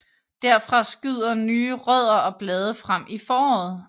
Derfra skyder nye rødder og blade frem i foråret